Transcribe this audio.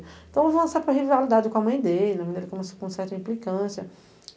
Então, avançar com rivalidade com a mãe dele, né, com com uma certa implicância.